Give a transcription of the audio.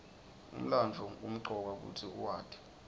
umlandvo kumcoka kutsi uwati